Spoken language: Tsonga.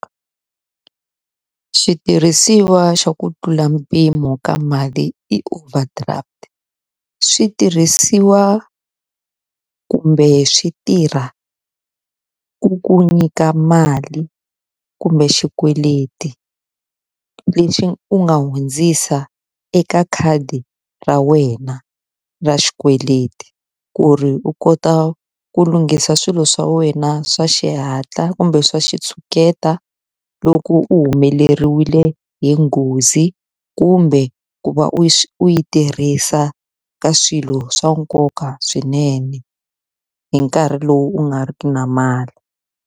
Xitirhisiwa xa ku tlula mpimo ka mali i overdraft. Swi tirhisiwa kumbe swi tirha ku ku nyika mali, kumbe xikweleti lexi u nga hundzisa eka khadi ra wena ra xikweleti. Ku ri u kota ku lunghisa swilo swa wena swa xihatla kumbe swa xitshuketa, loko u u humeleriwe hi nghozi kumbe, ku va u yi u yi tirhisa ka swilo swa nkoka swinene hi nkarhi lowu u nga ri ki na mali.